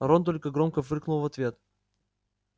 рон только громко фыркнул в ответ